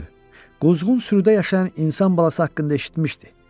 Quzğun sürüdə yaşayan insan balası haqqında eşitmişdi.